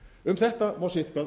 um þetta má sitthvað